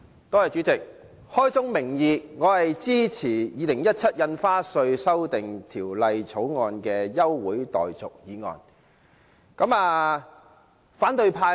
代理主席，開宗明義，我支持就《2017年印花稅條例草案》提出休會待續的議案。